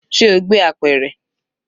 Ṣe o gbé apẹ̀rẹ̀?